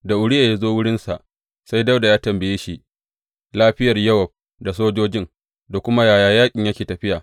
Da Uriya ya zo wurinsa, sai Dawuda ya tambaye shi lafiyar Yowab da sojojin, da kuma yaya yaƙin yake tafiya.